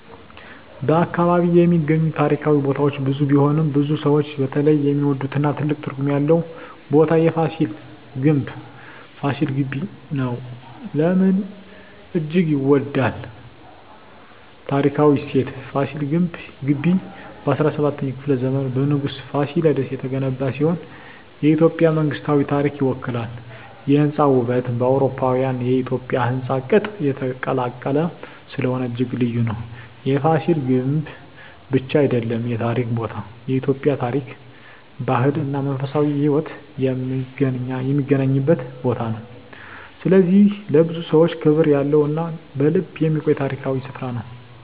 በ አካባቢ የሚገኙ ታሪካዊ ቦታዎች ብዙ ቢሆኑም፣ ብዙ ሰዎች በተለይ የሚወዱትና ትልቅ ትርጉም ያለው ቦታ የFasil Ghebbi (ፋሲል ግቢ) ነው። ለምን እጅግ ይወዳል? ታሪካዊ እሴት: ፋሲል ግቢ በ17ኛው ክፍለ ዘመን በንጉሥ Fasilides የተገነባ ሲሆን፣ የኢትዮጵያ መንግሥታዊ ታሪክን ይወክላል። የሕንፃ ውበት: በአውሮፓዊና በኢትዮጵያዊ ሕንፃ ቅጥ የተቀላቀለ ስለሆነ እጅግ ልዩ ነው። የፍሲል ግምብ ብቻ አይደለም የታሪክ ቦታ፤ የኢትዮጵያ ታሪክ፣ ባህል እና መንፈሳዊ ሕይወት የሚገናኝበት ቦታ ነው። ስለዚህ ለብዙ ሰዎች ክብር ያለው እና በልብ የሚቆይ ታሪካዊ ስፍራ ነው።